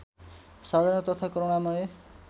साधारण तथा करूणामय